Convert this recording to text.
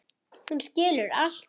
Hún skilur allt.